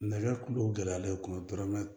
Nɛgɛ kulo gɛlɛyalen don i kun tɔrɔ